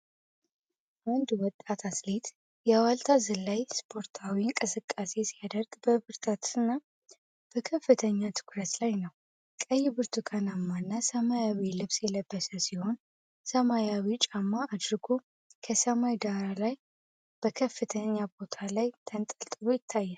አንድ ወጣት አትሌት የዋልታ ዝላይ ስፖርታዊ እንቅስቃሴ ሲያደርግ በብርታትና በከፍተኛ ትኩረት ላይ ነው። ቀይ፣ ብርቱካናማና ሰማያዊ ልብስ የለበሰ ሲሆን፣ ሰማያዊ ጫማ አድርጎ ከሰማይ ዳራ ላይ በከፍተኛ ቦታ ላይ ተንጠልጥሎ ይታያል።